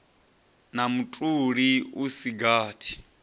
na mutoli u si gathi